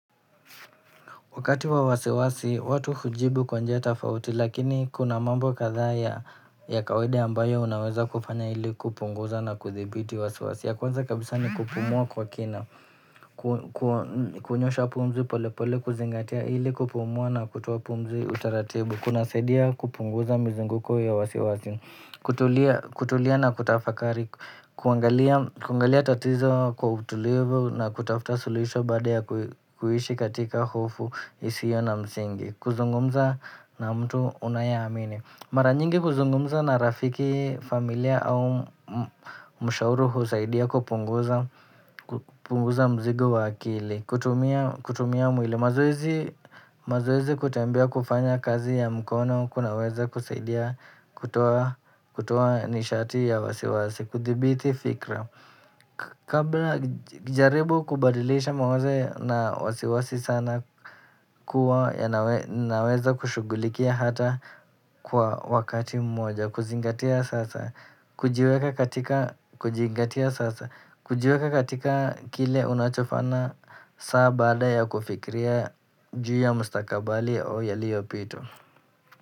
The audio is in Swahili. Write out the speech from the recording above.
Wakati wa wasiwasi, watu hujibu kwa njia tofauti, lakini kuna mambo kadhaa ya kawaida ambayo unaweza kufanya ili kupunguza na kuthibiti wasiwasi. Ya kwanza kabisa ni kupumua kwa kina, kunyosha pumzi polepole, kuzingatia ili kupumua na kutoa pumzi utaratibu. Kunasaidia kupunguza mzunguko ya wasiwasi, kutulia na kutafakari, kuangalia tatizo kwa utulivu na kutafuta suluhisho baada ya kuishi katika hofu. Isiyo na mzingi, kuzungumza na mtu unayeamini. Mara nyingi kuzungumza na rafiki familia au mshauri huusaidia kupunguza mzigo wa akili, kutumia mwili. Mazoezi kutembea kufanya kazi ya mkono kunaweza kusaidia kutoa nishati ya wasiwasi, kuthibiti fikra. Kabla jaribu kubadilisha mawazo na wasiwasi sana kuwa yanaweza kushugulikia hata kwa wakati mmoja kuzingatia sasa, kujiweka katika kile unachofana saa bada ya kufikria juu ya mustakabali au yaliyopita.